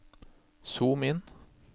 zoom inn